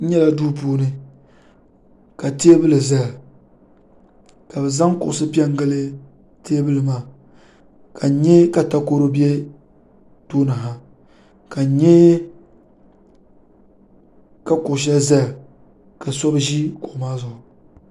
n nyɛla do puuni ka tɛbuli zaya ka be zaŋ kuɣisi pɛngili tɛbuli maa ka nyɛ ka takoru bɛ do maani ka n nyɛ ka kuɣ' shɛli ʒɛya ka so be ʒɛ kuɣ' maa zuɣ'